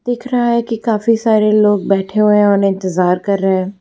दिख रहा है की काफी सारे लोग बैठे हुए है और इंतजार कर रहे --